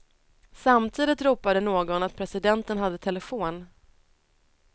Samtidigt ropade någon att presidenten hade telefon.